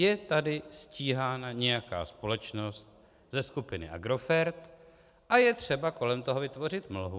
Je tady stíhána nějaká společnost ze skupiny Agrofert a je třeba kolem toho vytvořit mlhu.